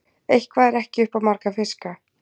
Eitthvað er ekki upp á marga fiska